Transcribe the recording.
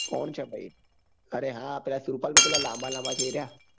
કોણ છે ભાઈ અરે હા પીલા સુરપાળ કે પેલા લાંબા લાંબા છે એરિયા